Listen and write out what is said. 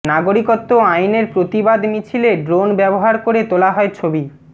নাগরিকত্ব আইনের প্রতিবাদ মিছিলে ড্রোন ব্যবফার করে তোলা হয় ছবি